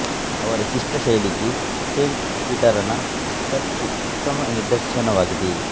ಅವರ ಶಿಷ್ಟ ಶೈಲಿಗೆ ಸೇಂಟ್ ಪೀಟರನ ಚರ್ಚು ಉತ್ತಮ ನಿದರ್ಶನವಾಗಿದೆ